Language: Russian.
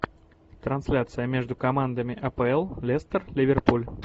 трансляция между командами апл лестер ливерпуль